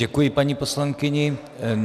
Děkuji paní poslankyni.